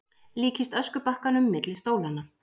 Líkist öskubakkanum milli stólanna.